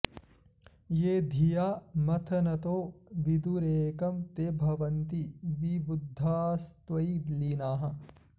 ये धिया मथनतो विदुरेकं ते भवन्ति विबुधास्त्वयि लीनाः